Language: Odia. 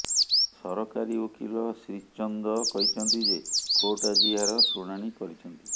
ସରକାରୀ ଓକିଲ ଶ୍ରୀଚନ୍ଦ କହିଛନ୍ତି ଯେ କୋର୍ଟ ଆଜି ଏହାର ଶୁଣାଣି କରିଛନ୍ତି